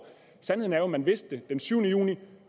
sandheden er jo at man vidste det den syvende juni